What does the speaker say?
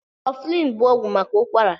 Kọflin bụ ọgwụ maka ụkwara.